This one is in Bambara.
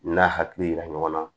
N'a hakili yira ɲɔgɔn na